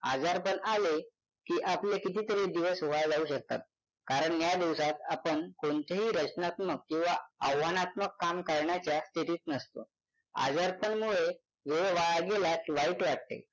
आजारपण आले की आपले कितीतरी दिवस वाया जाऊ शकतात कारण या दिवसांत आपण कोणतेही रचनात्मक किंवा आव्हानात्मक काम करण्याच्या स्थितीत नसतो आजारपणमुळे वेळ वाया गेला की वाईट वाटते.